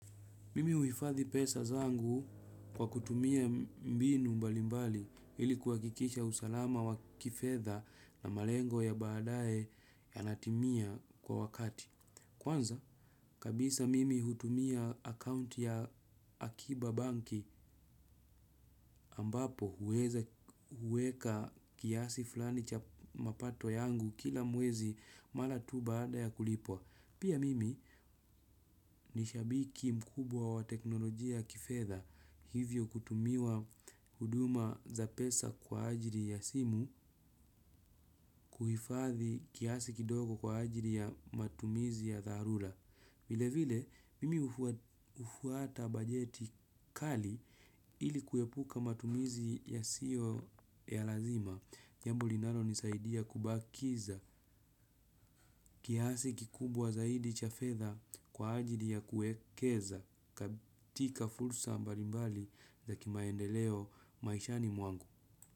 Mimi uifathi pesa zangu kwa kutumia mbinu mbalimbali ilikuwa kwakisha usalama wa kifedha na malengo ya baadae yanatimia kwa wakati. Kwanza, kabisa mimi hutumia akaunti ya Akiba Banki ambapo huweka kiasi flani cha mapato yangu kila mwezi mala tu baada ya kulipwa. Pia mimi nishabiki mkubwa wa teknolojia kifedha hivyo kutumiwa huduma za pesa kwa ajili ya simu kuhifathi kiasi kidogo kwa ajili ya matumizi ya tharula. Vile vile, mimi ufuata bajeti kali ili kuyepuka matumizi ya sio ya lazima, jambo linano nisaidia kubakiza kiasi kikubwa zaidi chafetha kwa ajili ya kuekeza, katika fulsa mbarimbali za kimaendeleo maishani mwangu.